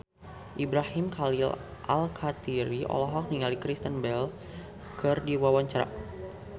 Ibrahim Khalil Alkatiri olohok ningali Kristen Bell keur diwawancara